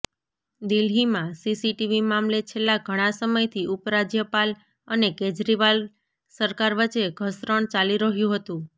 દિલ્હીમાં સીસીટીવી મામલે છેલ્લા ઘણા સમયથી ઉપરાજ્યપાલ અને કેજરીવાલ સરકાર વચ્ચે ઘર્ષણ ચાલી રહ્યુ હતુ